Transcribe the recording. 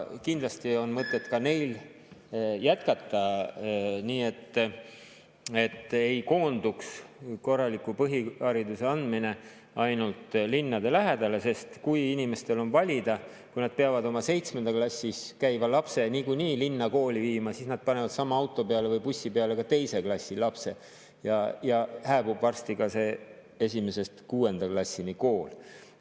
Kindlasti on mõtet ka neil jätkata, et korraliku põhihariduse andmine ei koonduks ainult linnade lähedale, sest kui inimestel on valida, kui nad peavad oma 7. klassis käiva lapse niikuinii linna kooli viima, siis nad panevad sama auto või bussi peale ka 2. klassi lapse ja hääbub varsti ka see 1.–6. klassi kool.